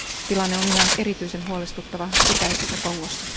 Tilanne on yhä erityisen huolestuttava itäisessä Kongossa.